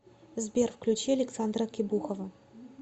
сбер включи александра кебухова